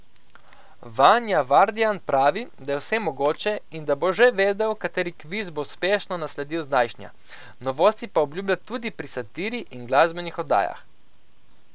Vanja Vardjan pravi, da je vse mogoče, in da bo že vedel, kateri kviz bo uspešno nasledil zdajšnja, novosti pa obljublja tudi pri satiri in glasbenih oddajah.